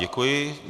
Děkuji.